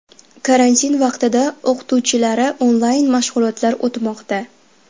Karantin vaqtida o‘qituvchilari onlayn mashg‘ulotlar o‘tmoqda.